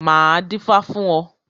Máa dífá fún ọ.